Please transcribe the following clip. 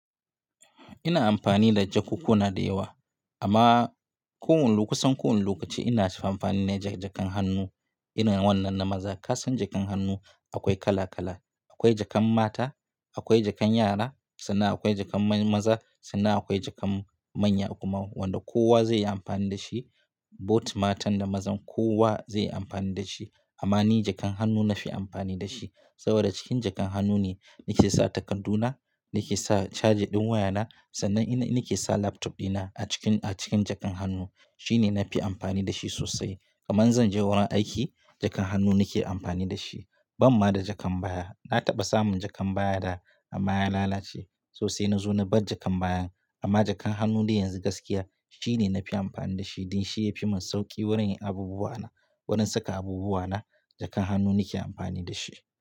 Ina amfani da jakukkuna da yawa amma ko wanne lokacin kusan ko wane lokaci ina amfani ne da jakan hannu irin wannan na maza. Ka san jakan hannu akwai kala kala, akwai jakan mata, akwai jakan yara sannan akwai jakan maza sannan akwai jakan manya kuma wanda kowa zai yi amfani da shi. Bot matan da mazan kowa zai yi amfani da shi. Amma ni jakan hannu na fi amfani da shi saboda cikin jakan hannu ne nake sa takarduna, nake sa caja ɗin wayana. Sannan ina nake sa laptop ɗina a cikin, a cikin jakan hannu. Shi ne na fi amfani da shi sosai. Kaman zan je wurin aiki jakan hannu nake amfani da shi. Ban ma da jakan baya. Na taɓa samun jakan baya da amma ya lalace sosai. Na zo na bar jakan bayan amma jakan hannu dai yanzu gaskiya shi ne na fi amfani da shi. Dan shi yafi mun sauki wurin yin abubuwa na, wurin saka abubuwa na jakan hannu nake amfani da shi.